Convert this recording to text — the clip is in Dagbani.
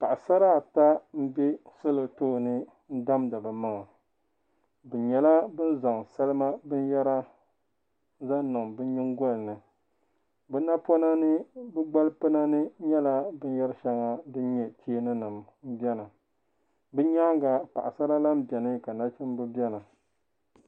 Paɣi sara ata m-be salɔ tooni n damdi bi maŋa binyala bin zaŋ salima binyara niŋ niŋ bi nyin goli ni bi napɔna ni bi gbal pina ninyala bin yari shaŋa din nyɛ cheeni nim beni. bi nyaa ŋa paɣisara lana beni. kanachimba beni.